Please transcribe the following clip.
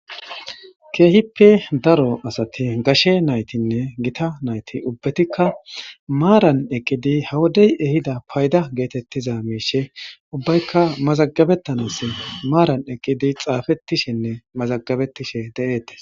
ke'ihippe daro asati gashshe naytinne gitta naytti ubbetikka maran eqqidi ha wodey ehidda paydda geetettiza miishshe ubbaykka mazagabettanas maran eqqidi xafetiishenne mazagabetiishshe de'etees